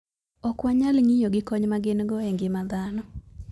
Ok wanyal ng'iyo gi kony ma gin - go e ngima dhano.